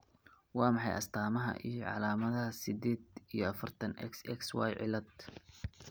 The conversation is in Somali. Waa maxay astamaha iyo calaamadaha sided iyi afartan, XXYY cilad?